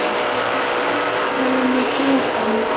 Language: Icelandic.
Eru það ekki þeir sem eru með forkana?